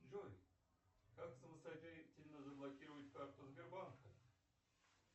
джой как самостоятельно заблокировать карту сбербанка